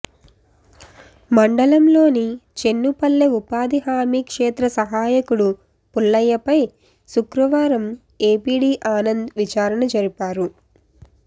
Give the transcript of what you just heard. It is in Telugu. మండలంలోని చెన్నుపల్లె ఉపాధి హామీ క్షేత్ర సహాయకుడు పుల్లయ్యపై శుక్రవారం ఎపిడి ఆనంద్ విచారణ జరిపారు